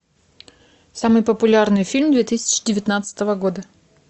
самый популярный фильм две тысячи девятнадцатого года